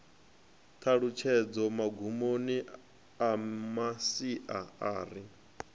ṱhalutshedzo magumoni a masia ari